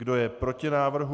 Kdo je proti návrhu?